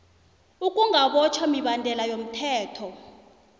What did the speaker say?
ukungabotjhwa mibandela yomthetho